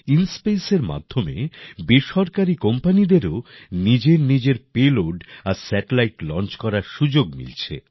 ইনস্পেসের মাধ্যমে বেসরকারী কোম্পানিদেরও নিজেরনিজের পেলোড আর স্যাটেলাইট লঞ্চ করার সুযোগ মিলছে